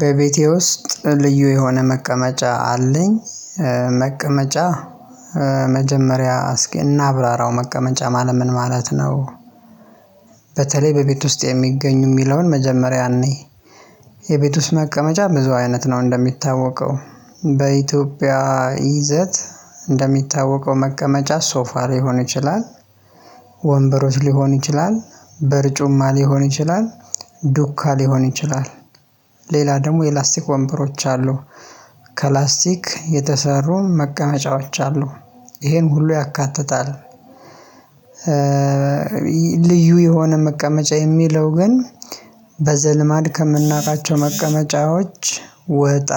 በቤቴ ውስጥ ልዩ የሆነ መቀመጫ አለኝ። መቀመጫ መጀመሪያ እስኪ እናብራራው መቀመጫ ማለት ምን ማለት ነው? በተለይ በቤት ውስጥ የሚገኙ የሚለውን መጀመሪያ እንይ። የቤት ውስጥ መቀመጫ ብዙ አይነት ነው እንደሚታወቀው በኢትዮጵያ ይዘት እንደሚታወቀው መቀመጫ ሶፋ ሊሆን ይችላል። ወንበሮች ሊሆን ይችላል በርጩማ ሊሆን ይችላል ዱካ ሊሆን ይችላል ሌላ ደግሞ የላስቲክ ወንበሮች አሉ ከላስቲክ የተሰሩ መቀመጫዎች አሉ ይሄን ሁሉ ያካትታል። ልዩ የሆነ መቀመጫ የሚለው ግን በዘልማድ ከምናውቃቸው መቀመጫዎች ወጣ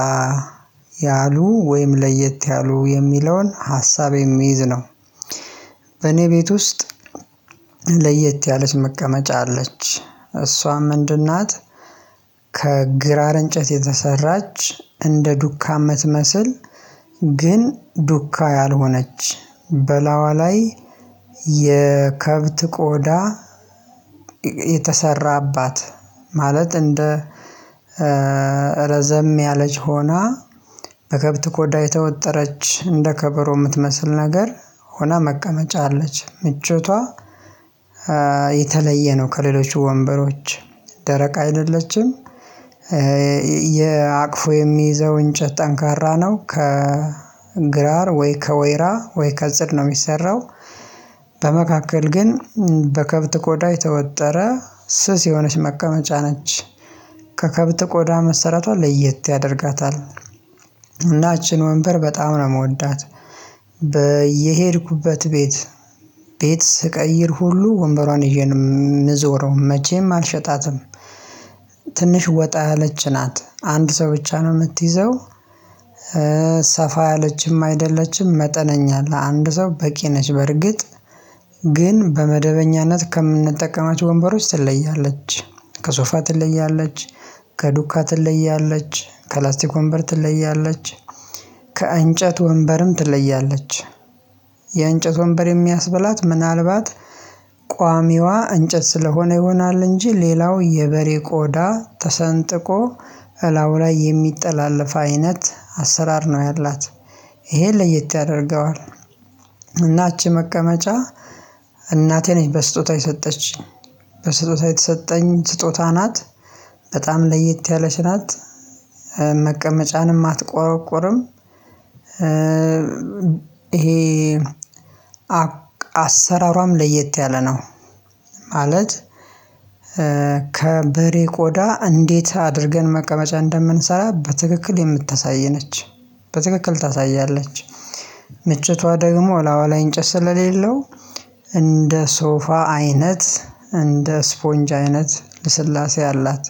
ያሉ ወይም ለየት ያሉ የሚለውን ሀሳቤ የሚይዝ ነው። በኔ ቤት ውስጥ ለየት ያለች መቀመጫ አለች እሷም ምንድን ናት? ከግራር እንጨት የተሰራች እንደ ዱካ መትመስል ግን ዱካ ያልሆነች በላዋ ላይ የከብት ቆዳ። የተሰራባት ማለት እንደ ረዘም ያለች ሆና በከብት ኮዳ የተወጠረች እንደ ከበሮ የምትመስል ነገር ሆና መቀመጫ አለች ምቾቷ። የተለየ ነው ከሌሎች ወንበሮች ደረቅ አይደለችም። የአቅፎ የሚይዘው እንጨት ጠንካራ ነው ከግራር ወይ ከወይራ ወይ ከጽድ ነው የሚሰራው። በመካከል ግን በከብት ኮዳይ ተወጠረ ስስ የሆነች መቀመጫ ነች። ከከብት ቆዳ መሰረቷ ለየት ያደርጋታል። እና እቺን ወንበር በጣም ነው የምወዳት። በየሄድኩበት ቤት ቤት ስቀይር ሁሉ ወንበሯን ይዤ ነው የምዞረው መቼም አልሸጣትም። ትንሽ ወጣ ያለች ናት አንድ ሰው ብቻ ነው የምትይዘው። ሰፋ ያለችም አይደለችም መጠነኛ አለ አንድ ሰው በቂ ነች በርግጥ ግን በመደበኛነት ከምንጠቀማቸው ወንበሮች ትለያለች። ከሶፋ ትለያለች ከዱካ ትለያለች ከላስቲክ ወንበር ትለያለች። ከእንጨት ወንበርም ትለያለች የእንጨት ወንበር የሚያስበላት ምናልባት ቋሚዋ እንጨት ስለሆነ ይሆናል። እንጂ ሌላው የበሬ ቆዳ ተሰንጥቆ እላው ላይ የሚጠላለፍ አይነት አሰራር ነው ያላት። ይሄን ለየት ያደርገዋል። እናችሁ መቀመጫ እናቴ ነች በስጦታ የሰጠች በስጦታ የተሰጠኝ ስጦታ ናት። በጣም ለይት ያለች ናት መቀመጫንም አትቆረቁርም። ይሄ አሰራሯም ለየት ያለ ነው። ማለት ከበሬ ቆዳ እንዴት አድርገን መቀመጫ እንደምንሰራ በትክክል የምታሳየነች። በትክክል ታሳያለች ምችቷ ደግሞ አላዋ ላይ እንጨት ስለሌለው እንደ ሶፋ አይነት እንደ ስፖንጅ አይነት ልስላሴ አላት።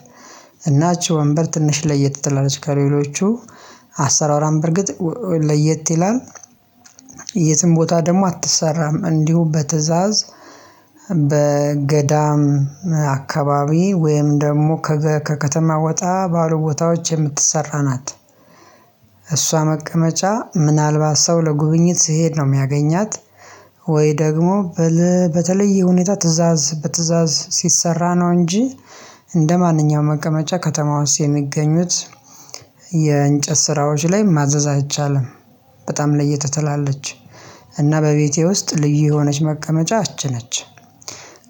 እናችሁ ወንበር ትንሽ ለየት ትላለች ከሌሎቹ አሰራራም በርግጥ ለየት ይላል። የትም ቦታ ደግሞ አትሰራም እንዲሁ በትእዛዝ በገዳም አካባቢ ወይም ደግሞ ከከተማ ወጣ ባሉ ቦታዎች የምትሰራ ናት። እሷ መቀመጫ ምናልባት ሰው ለጉብኝት ስሄድ ነው የሚያገኛት። ወይ ደግሞ በተለየ ሁኔታ ትእዛዝ በትዕዛዝ ሲሰራ ነው እንጂ። እንደማንኛውም መቀመጫ ከተማ ውስጥ የሚገኙት የእንጨት ስራዎች ላይ ማዘዝ አይቻልም። በጣም ለየተተላለች እና በቤቴ ውስጥ ልዩ የሆነች መቀመጫችን አትችልም።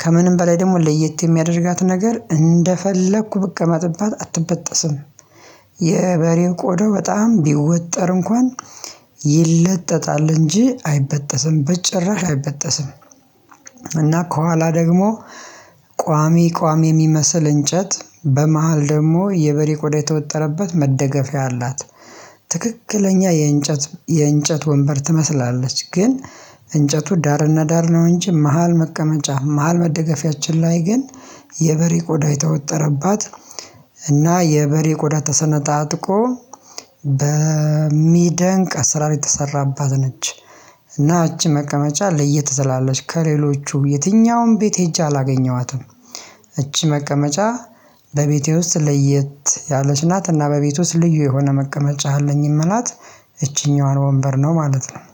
ከምንም በላይ ደግሞ ለየት የሚያደርጋት ነገር እንደፈለኩ ብቅ መጥባት አትበጠስም። የበሬው ቆዳ በጣም ቢወጠር እንኳን ይለጠጣል እንጂ አይበጠስም በጭራሽ አይበጠስም። እና ከኋላ ደግሞ ቋሚ ቋሚ የሚመስል እንጨት በመሃል ደግሞ የበሬ ቆዳ የተወጠረበት መደገፊያ አላት። ትክክለኛ የእንጨት የእንጨት ወንበር ትመስላለች ግን እንጨቱ ዳርና ዳር ነው እንጂ መሃል መቀመጫ መሃል መደገፊያችን ላይ ግን የበሬ ቆዳ የተወጠረባት እና የበሬ ቆዳ ተሰነጣጥቆ በሚደንቅ አሰራር የተሰራባት ነች። እና እጅ መቀመጫ ለየት ትላለች ከሌሎቹ የትኛውም ቤት ሄጄ አላገኘኋትም። እቺ መቀመጫ ለቤቴ ውስጥ ለየት ያለች ናት እና በቤት ውስጥ ልዩ የሆነ መቀመጫ አለኝም ናት። እቺኛዋን ወንበር ነው ማለት ነው